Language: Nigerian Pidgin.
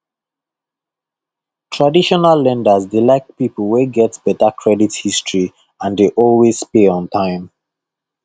traditional lenders dey like people wey get better credit history and dey always pay on time